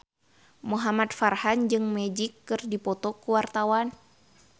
Muhamad Farhan jeung Magic keur dipoto ku wartawan